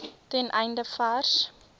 ten einde vars